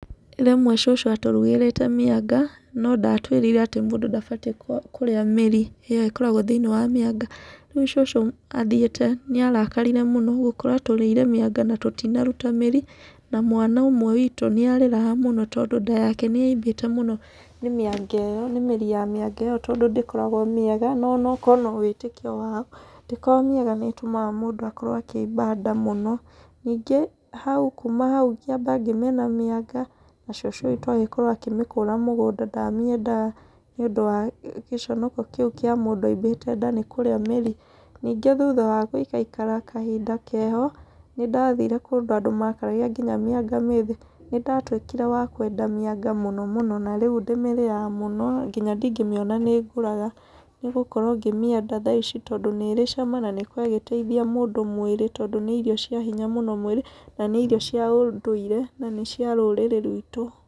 Rĩmwe cũcũ atũrugĩrĩte mĩanga, no ndatũĩrire atĩ mũndũ ndabatiĩ kũrĩa mĩri ĩyo ĩkoragwo thĩiniĩ wa mĩanga. Rĩu cucu athiĩte nĩ arakarire mũno gũkora tũrĩire mĩanga na tũtinaruta mĩrĩ, na mwana ũmwe witũ nĩ arĩraga mũno tondũ nda yake nĩ yaimbĩte mũno nĩ mĩanga ĩyo, nĩ mĩri ya mĩanga ĩyo tondũ ndĩkoragwo mĩega. No onokorwo no wĩtĩkio wao ndĩkoragwo mĩega nĩ ĩtũmaga mũndũ akorwo akĩmba nda mũno. Ningĩ, hau kuuma hau ngĩamba ngĩmena mĩanga, na cũcũ witũ agĩkorwo akĩmĩkũra mũgũnda ndamĩendaga nĩ ũndũ wa gĩconoko kĩu kĩa mũndũ aimbĩte nda nĩ kũrĩa mĩri. Ningĩ thutha wa gũikaikara kahinda keho, nĩ ndathire kũndũ andũ makaragia nginya mĩanga mĩthĩ. Nĩ ndatuĩkire wa kwenda mĩanga mũno mũno ,na rĩu ndĩmĩrĩaga mũno, nginya ndingĩmĩona nĩ ngũraga nĩ gũkora mĩanga thaa ici tondũ nĩ ĩrĩ cama na nĩ ĩkoragwo ĩgĩteithia mũndũ mwĩrĩ tondũ nĩ irio cia hinya mwĩrĩ, na nĩ irio cia ũndũire, na nĩ cia rũrĩrĩ rwitũ.